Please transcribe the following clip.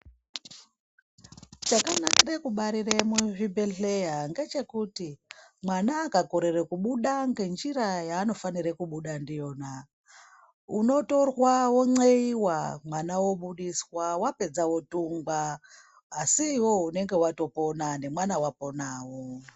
Chakanakire kubarire muzvibhedhleya ngechekuti mwana akakorere kubuda ngenjira yanofanire kubuda ndiyona unotorwa wonxeiwa mwana obudiswa wapedza wodhungwa asi iwewe unenge watopona nemwana waponawo.